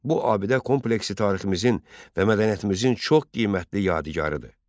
Bu abidə kompleksi tariximizin və mədəniyyətimizin çox qiymətli yadigarıdır.